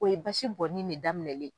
O ye basi bɔɔni nin ne daminɛlen.